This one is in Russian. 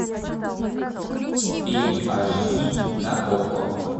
фильм аш ди на окко